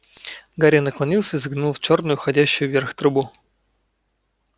гарри наклонился и заглянул в чёрную уходящую вверх трубу